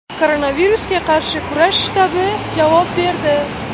Koronavirusga qarshi kurash shtabi javob berdi.